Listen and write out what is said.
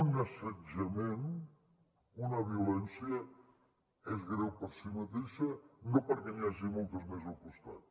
un assetjament una violència és greu per si mateixa no perquè n’hi hagi moltes més al costat